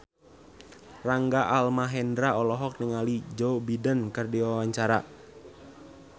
Rangga Almahendra olohok ningali Joe Biden keur diwawancara